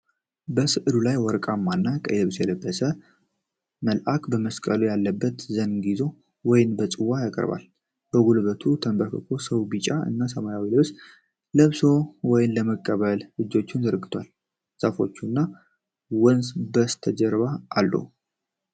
በሥዕሉ ላይ ወርቃማ እና ቀይ ልብስ የለበሰ መልአክ በመስቀል ያለበት ዘንግ ይዞ ወይን በጽዋ ያቀርባል። በጉልበቱ የተንበረከከ ሰው ቢጫ እና ሰማያዊ ልብስ ለብሶ ወይን ለመቀበል እጆቹን ዘርግቷል። ዛፎች እና ወንዝ በስተጀርባ አሉ።